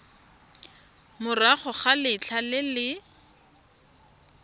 morago ga letlha le le